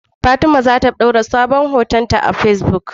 Fatima zata dora sabon hoton ta facebook